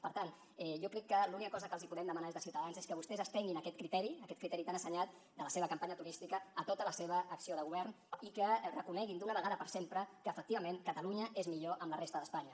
per tant jo crec que l’única cosa que els podem demanar des de ciutadans és que vostès estenguin aquest criteri aquest criteri tan assenyat de la seva campanya turística a tota la seva acció de govern i que reconeguin d’una vegada per sempre que efectivament catalunya és millor amb la resta d’espanya